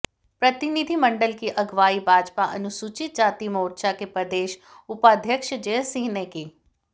प्रतिनिधिमंडल की अगवाई भाजपा अनुसूचित जाति मोर्चा के प्रदेश उपाध्यक्ष जय सिंह ने की